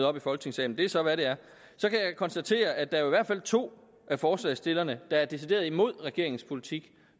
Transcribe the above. op i folketingssalen det er så hvad det er så kan jeg konstatere at der i hvert fald er to af forslagsstillerne der er decideret imod regeringens politik